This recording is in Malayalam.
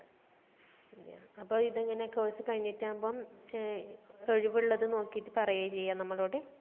അതേയ അപ്പൊ ഇതെങ്ങനെ course കഴിഞ്ഞിട്ടാമ്പം ഏർ ഒഴിവുള്ളത് നോക്കിയിട്ട് പറയാ ചെയ്യാ നമ്മളോട്